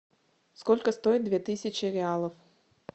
сколько стоит две тысячи реалов